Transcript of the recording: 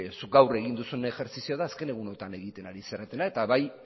zuk gaur egin duzun ejerzizioa da azken egunetan egiten ari zaretena eta bai